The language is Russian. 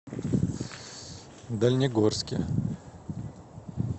дальнегорске